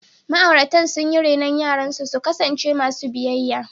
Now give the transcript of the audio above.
Ma’auratan sun yi renon yaransu su kasance masu biyayya.